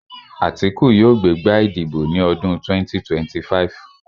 Àtíkù yóò gbé gbá ìdìbò ní ọdún 2025